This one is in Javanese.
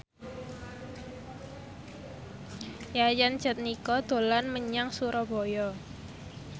Yayan Jatnika dolan menyang Surabaya